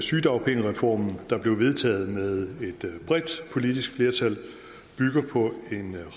sygedagpengereformen der blev vedtaget med et bredt politisk flertal bygger på en